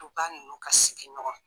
Duba nunnu ka sigin ɲɔgɔn ma